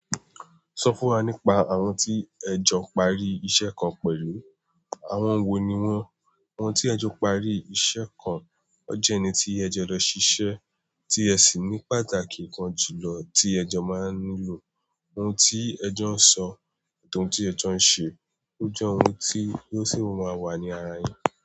Sọ fún wa nípa àwọn tí ẹjọ parí iṣẹ́ kan pẹ̀lú. Àwọn wo ni wọ́n? Àwọn tí ẹjọ parí iṣẹ́ kan, ọjọ́ ẹni tí ẹjọ lọ ṣiṣẹ́, tí ẹ sì ní pàtàkì kan jù lọ tí ẹjọ máa nílò, oun tí ẹjọ ń sọ, àti oun tí ẹjọ ń ṣe, ó jẹ́ oun tí Lọ́sí máa wà ní ara wọn.